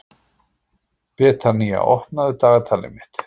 Betanía, opnaðu dagatalið mitt.